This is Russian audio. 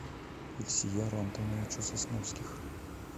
ильсияру антоновичу сосновских